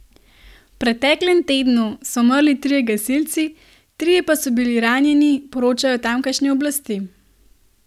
V preteklem tednu so umrli trije gasilci, trije pa so bili ranjeni, poročajo tamkajšnje oblasti.